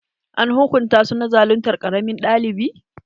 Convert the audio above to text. An hukunta su na zaluntar ƙaramin ɗalibi?